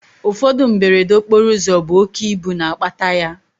Ụfọdụ mberede okporoụzọ bụ oké ibu na-akpata ya